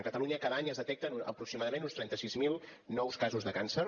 a catalunya cada any es detecten aproximadament uns trenta sis mil nous casos de càncer